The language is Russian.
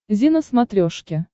зи на смотрешке